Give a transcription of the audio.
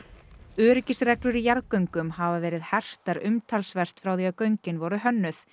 öryggisreglur í jarðgöngum hafa verið hertar umtalsvert frá því göngin voru hönnuð